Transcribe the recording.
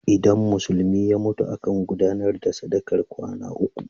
Idan Musulmi ya mutu, akan gudanar da sadakar kwana uku.